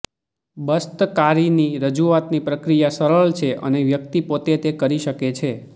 બસ્તિકારીની રજૂઆતની પ્રક્રિયા સરળ છે અને વ્યક્તિ પોતે તે કરી શકે છે